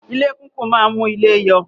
Ilé kìkún máa ń mú ilé yọ